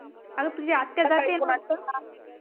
आग तुझी आत्या जाती